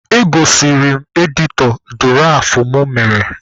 Egosiri m editọ dụraf mụ mere.